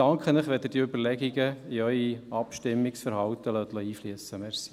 Ich danke Ihnen, wenn Sie diese Überlegungen in Ihr Abstimmungsverhalten einfliessen lassen.